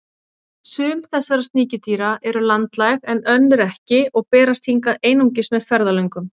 Sum þessara sníkjudýra eru landlæg en önnur ekki og berast hingað einungis með ferðalöngum.